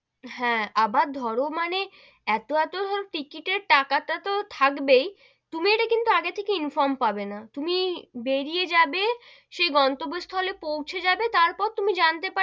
হ্যা, আবার ধরো মানে এতো এতো টো টিকিটের টাকা টা তো থাকবেই, তুমি ইটা কিন্তু আগে থেকে inform পাবে না, তুমি বেরিয়ে যাবে সেই গন্তব্য স্থলে পৌঁছে যাবে তার পর তুমি জানতে,